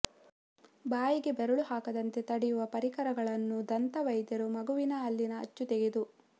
ಬಾಯಿಗೆ ಬೆರಳು ಹಾಕದಂತೆ ತಡೆಯುವ ಪರಿಕರಗಳನ್ನು ದಂತ ವೈದ್ಯರು ಮಗುವಿನ ಹಲ್ಲಿನ ಅಚ್ಚು ತೆಗೆದು